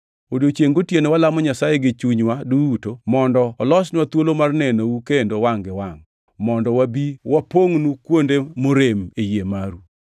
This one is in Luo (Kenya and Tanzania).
Odiechiengʼ gotieno walamo Nyasaye gi chunywa duto mondo olosnwa thuolo mar nenou kendo wangʼ gi wangʼ, mondo wabi wapongʼnu kuonde morem e yie maru.